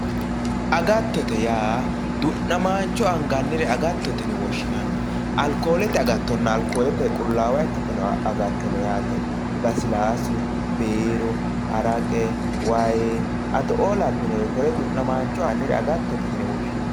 Agattote yaa du'namancho angannire agattote yine woshshinanni alikolete agattonna alikolete qulaawa ikkitino agatto no yaate lasilasu biiru haraqe waayi addo"oo lawinore du'namancho koreo agattote yine woshshinanni.